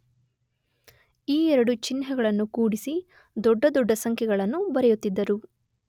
ಈ ಎರಡು ಚಿಹ್ನೆಗಳನ್ನು ಕೂಡಿಸಿ ದೊಡ್ಡ ದೊಡ್ಡ ಸಂಖ್ಯೆಗಳನ್ನು ಬರೆಯುತ್ತಿದ್ದರು.